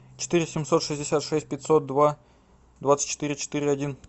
четыре семьсот шестьдесят шесть пятьсот два двадцать четыре четыре один